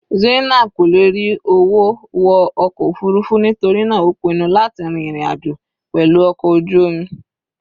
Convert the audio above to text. Zainab kò lè rí owó wọ ọkọ̀ òfurufú nítorí náà ó pinnu láti rin ìrìn àjò pẹ̀lú ọkọ̀ ojú omi.